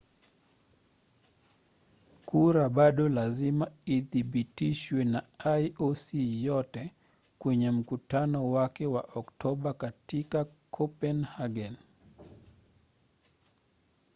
kura bado lazima ithibitishwe na ioc yote kwenye mkutano wake wa oktoba katika kopenhagen